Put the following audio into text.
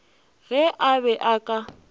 ge a be a ka